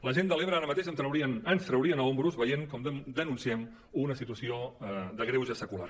la gent de l’ebre ara mateix ens traurien a espatlles veient com denunciem una situació de greuge secular